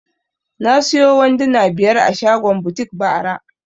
Na siyo wanduna biyar a shagon butik bara